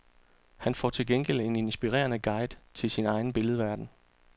Han får til gengæld en inspirerende guide til sin egen billedverden.